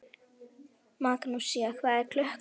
Magnúsína, hvað er klukkan?